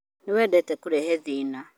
nĩ wendete kũrehe thĩna